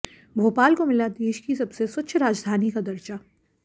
भोपाल को मिला देश की सबसे स्वच्छ राजधानी का दर्जा